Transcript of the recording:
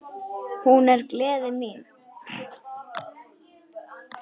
Hún er gleði mín.